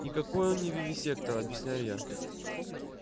никакой он не вивисектор объясняю я